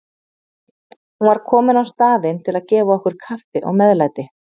Hún var komin á staðinn til að gefa okkur kaffi og meðlæti.